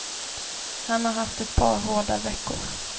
Han har haft ett par hårda veckor.